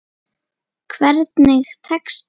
Hvernig tekst til?